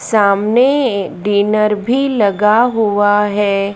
सामने ये डिनर भीं लगा हुवा हैं।